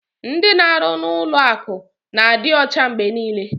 Ndị na-arụ n'ụlọ akụ na-adị ọcha mgbe niile.